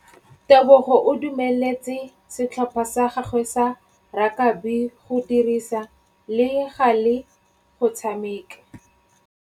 Tebogô o dumeletse setlhopha sa gagwe sa rakabi go dirisa le galê go tshameka.